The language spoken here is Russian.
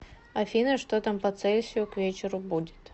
афина что там по цельсию к вечеру будет